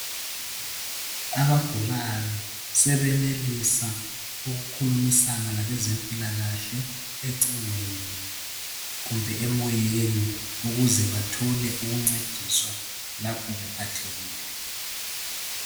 Abagulayo sebenelisa ukukhulumisana labezempilakahle ecingweni kumbe emoyeni. Ukuze bathole ukuncediswa lapho bephathekile.